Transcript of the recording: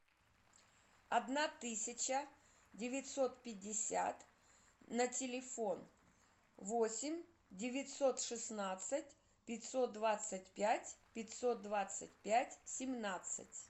одна тысяча девятьсот пятьдесят на телефон восемь девятьсот шестнадцать пятьсот двадцать пять пятьсот двадцать пять семнадцать